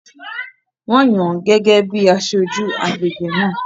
Wọ́n yàn án gẹ́gẹ́ bíi aṣojú agbègbè náà